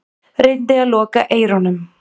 Reyndi að loka eyrunum.